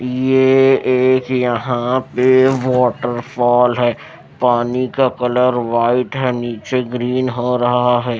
यह एक यहां पे वाटरफॉल है पानी का कलर वाइट है नीचे ग्रीन हो रहा है।